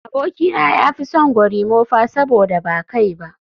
Abokina ya fi son gorimofa saboda ba kai ba